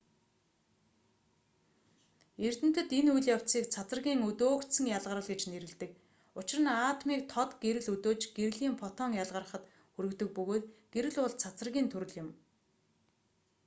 эрдэмтэд энэ үйл явцыг цацрагийн өдөөгдсөн ялгарал гэж нэрлэдэг учир нь атомыг тод гэрэл өдөөж гэрлийн фотон ялгарахад хүргэдэг бөгөөд гэрэл бол цацрагийн төрөл юм